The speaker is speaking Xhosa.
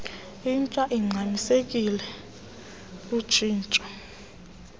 intsha ingxamisekileyo lutshintsho